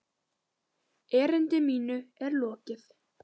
Erindi mínu er lokið!